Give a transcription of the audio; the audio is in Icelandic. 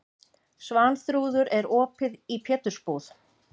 Svanþrúður, er opið í Pétursbúð?